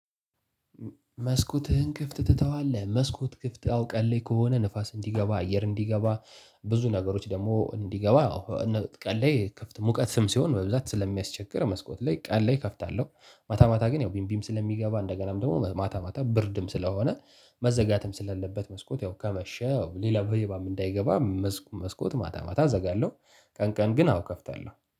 መስኮትህን ክፍት ትተዋለህ? መስኮት ክፍት ቀን ላይ ክፍት ከሆነ ንፋስ እንዲገባ አየር እንዲገባ ብዙ ነገሮች ደግሞ እንዲገባ አዎ ቀን ላይ ክፍት ሙቀትም ሲሆን በብዛት ስለሚያስቸግር መስኮት ላይ ቀን ላይ እከፍታለሁ። ማታ ማታ ግን ያው ብርድም ስለሚገባ እንደገናም ደግሞ ማታ ማታ ብርድም ስለሆነ መዘጋትም ስለሌለበት መስኮት ያው ከመሸ ሌላ ሌባም እንዳይገባ መስኮት ማታ ማታ አዘጋለሁ። ቀን ቀን ግን አዎ እከፍታለሁ።